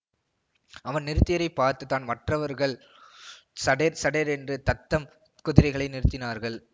அவன் நிறுத்தியதைப் பார்த்துத்தான் மற்றவர்கள் சடேர் சடேரென்று தத்தம் குதிரைகளை நிறுத்தினார்கள்